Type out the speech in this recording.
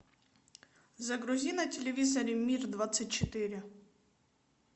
загрузи на телевизоре мир двадцать четыре